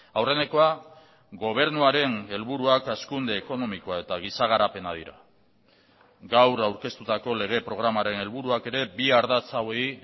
aurrenekoa gobernuaren helburuak hazkunde ekonomikoa eta giza garapena dira gaur aurkeztutako lege programaren helburuak ere bi ardatz hauei